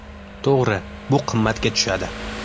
To‘g‘ri, bu qimmatga tushadi.